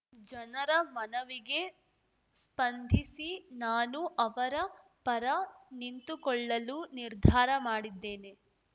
ಜನರ ಮನವಿಗೆ ಸ್ಪಂಧಿಸಿ ನಾನು ಅವರ ಪರ ನಿಂತುಕೊಳ್ಳುಲು ನಿರ್ಧಾರ ಮಾಡಿದ್ದೇನೆ